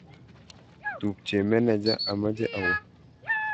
tupche meneja, ameche awo